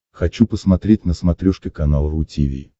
хочу посмотреть на смотрешке канал ру ти ви